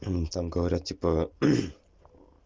ну там говорят типа